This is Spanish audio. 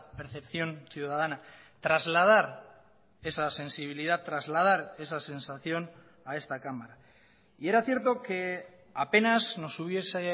percepción ciudadana trasladar esa sensibilidad trasladar esa sensación a esta cámara y era cierto que apenas nos hubiese